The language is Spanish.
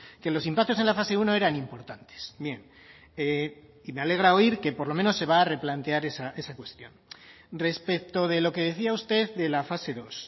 que los impactos en la fase uno eran importantes bien y me alegra oír que por lo menos se va a replantear esa cuestión respecto de lo que decía usted de la fase dos